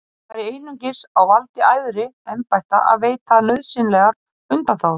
Það væri einungis á valdi æðri embætta að veita nauðsynlegar undanþágur.